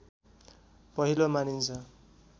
पहिलो मानिन्छ